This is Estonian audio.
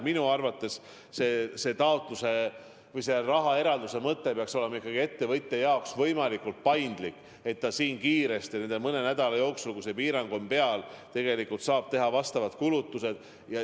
Minu arvates peaks selle raha taotlemine olema ettevõtja jaoks võimalikult paindlik, et ta saaks kiiresti nende mõne nädala jooksul, kui see piirang on peal, juba teha vajalikud kulutused.